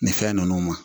Nin fɛn ninnu ma